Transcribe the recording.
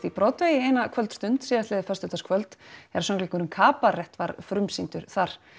í Broadway eina kvöldstund síðastliðið föstudagskvöld þegar söngleikurinn kabarett var frumsýndur þar